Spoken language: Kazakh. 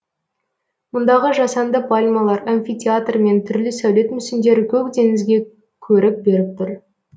мұндағы жасанды пальмалар амфитеатр мен түрлі сәулет мүсіндері көк теңізге көрік беріп тұр